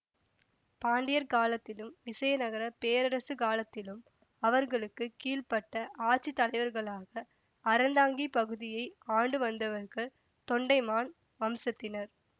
பாண்டியர் காலத்திலும் விசயநகரப் பேரரசுக்காலத்திலும் அவர்களுக்கு கீழ்ப்பட்ட ஆட்சி தலைவர்களாக அறந்தாங்கிப் பகுதியை ஆண்டுவந்தவர்கள் தொண்டைமான் வம்சத்தினர்